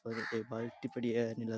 और एक बाल्टी पड़ी है नीला --